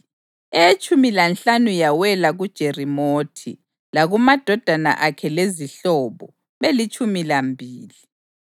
eyetshumi lanhlanu yawela kuJerimothi, lakumadodana akhe lezihlobo, belitshumi lambili;